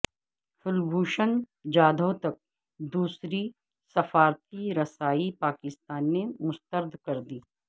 کلبھوشن جادھو تک دوسری سفارتی رسائی پاکستان نے مسترد کردی